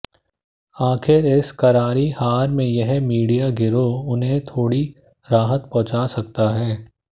आख़िर इस क़रारी हार में यही मीडिया गिरोह उन्हें थोड़ी राहत पहुँचा सकता है